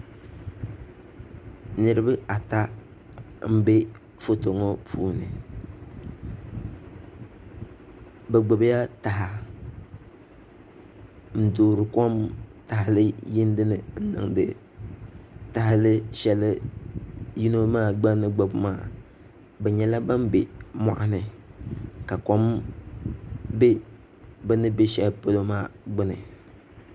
Niraba ata n bɛ Foto ŋo puuni bi gbubila taha n toori kom taha yindi ni n niŋdi taha shɛli yino maa gba ni gbubi maa bi nyɛla ban bɛ moɣali ka kom bɛ bi ni bɛ shɛli polo maa gbuni